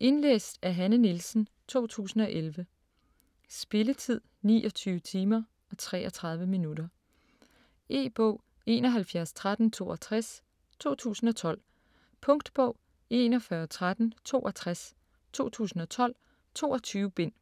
Indlæst af Hanne Nielsen, 2011. Spilletid: 29 timer, 33 minutter. E-bog 711362 2012. Punktbog 411362 2012. 22 bind.